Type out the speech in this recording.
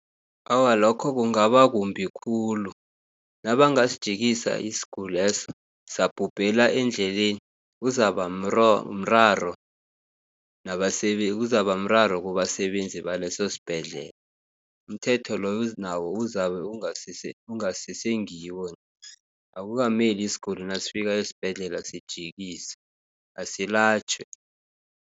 Awa, lokho kungaba kumbi khulu, nabangasijikisa isiguli leso sabhubhela endleleni, kuzabamraro kubasebenzi baleso sibhedlela. Umthetho loyo nawo uzabe okungasese ngiwo, akukameli isiguli nasifika esibhedlela sijikiswe asilatjhwe.